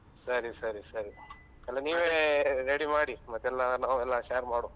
ಸರಿ ಸರಿ ಸರಿ ಎಲ್ಲ ನೀವೇ ready ಮಾಡಿ ಮತ್ತೆಲ್ಲ ನಾವೆಲ್ಲ share ಮಾಡುವ.